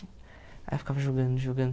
Aí eu ficava jogando, jogando.